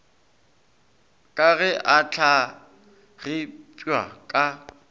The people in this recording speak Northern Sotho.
ka ge a hlagipwa ka